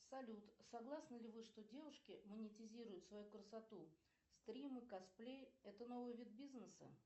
салют согласны ли вы что девушки монетизируют свою красоту стримы косплей это новый вид бизнеса